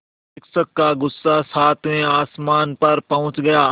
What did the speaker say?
शिक्षक का गुस्सा सातवें आसमान पर पहुँच गया